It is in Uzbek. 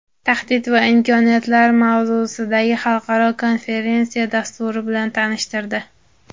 Tahdid va imkoniyatlar mavzusidagi xalqaro konferensiya dasturi bilan tanishtirdi.